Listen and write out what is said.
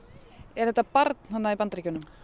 er þetta barn þarna í Bandaríkjunum